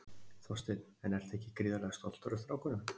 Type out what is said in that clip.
Þorsteinn: En ertu ekki gríðarlega stoltur af strákunum?